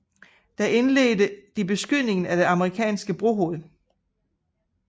Der indledte de beskydning af det amerikanske brohoved